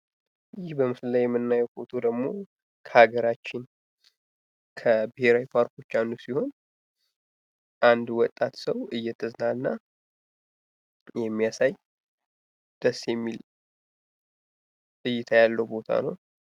ይህ በምስሉ ላይ የምናየው ፎቶ ደግሞ ከሀገራችን ከብሔራዊ ፓርኮች አንዱ ሲሆን አንድ ወጣት ሰው እየተዝናና የሚያሳይ ደስ የሚል እይታ ያለው ቦታ ነው።